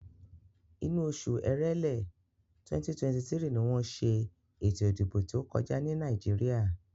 Inú oṣù Èrèlé, 2023 ni wọ́n ṣe ètò ìdìbò tí ó kọjá ní Nàìjíríà.